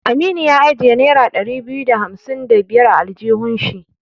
Aminu ya ajiye nera ɗari biyu da hamsin da biyar a aljihun shi.